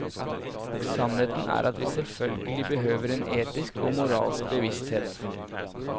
Og sannheten er at vi selvfølgelig behøver en etisk og moralsk bevissthet.